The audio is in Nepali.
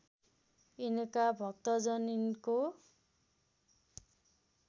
यिनका भक्तजन यिनको